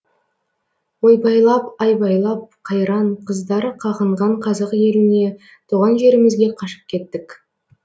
ойбайлап айбайлап қайран қыздары қағынған қазақ еліне туған жерімізге қашып кеттік